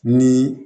Ni